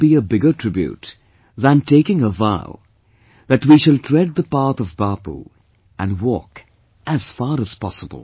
What can be a bigger tribute than taking a vow that we shall tread the path of Bapu and walk, as far as possible